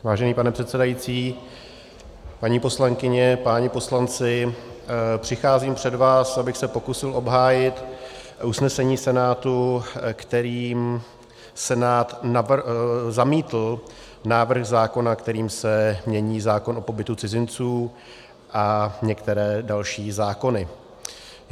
Vážený pane předsedající, paní poslankyně, páni poslanci, přicházím před vás, abych se pokusil obhájit usnesení Senátu, kterým Senát zamítl návrh zákona, kterým se mění zákon o pobytu cizinců a některé další zákony.